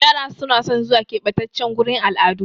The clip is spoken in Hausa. Yara na son zuwa ƙebatace gurin al'adu